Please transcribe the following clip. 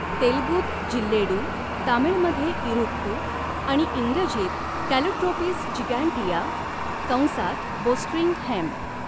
तेलगूत जिल्लेडू, तामीळमध्ये इरुक्कु आणि इंग्रजीत कॅलोट्रोपिस जिगॅन्टिया कंसात बोस्ट्रिंग हेम्प.